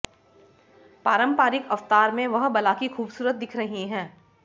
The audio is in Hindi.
पारंपारिक अवतार में वह बला की खूबसूरत दिख रही है